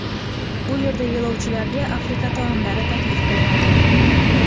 Bu yerda yo‘lovchilarga Afrika taomlari taklif qilinadi.